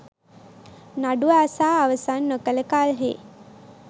නඩුව අසා අවසන් නොකළ කල්හි